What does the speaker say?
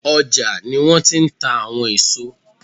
ọ́jà ní wọn ti n tà àwọn eso